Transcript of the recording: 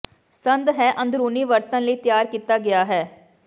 ਸੰਦ ਹੈ ਅੰਦਰੂਨੀ ਵਰਤਣ ਲਈ ਤਿਆਰ ਕੀਤਾ ਗਿਆ ਹੈ